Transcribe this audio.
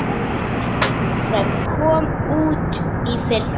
sem kom út í fyrra.